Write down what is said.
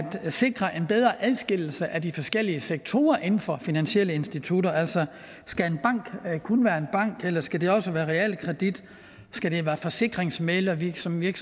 sikre en bedre adskillelse af de forskellige sektorer inden for finansielle institutter altså skal en bank kun være en bank eller skal det også være realkredit skal det være forsikringsmæglervirksomhed